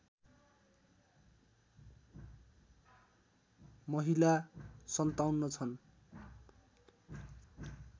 महिला ५७ छन्